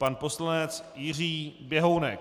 Pan poslanec Jiří Běhounek.